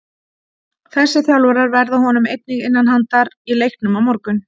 Þessi þjálfarar verða honum einnig innan handar í leiknum á morgun.